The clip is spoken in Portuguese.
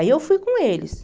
Aí eu fui com eles.